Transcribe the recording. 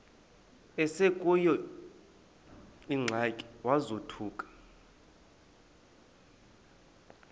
esekuleyo ingxaki wazothuka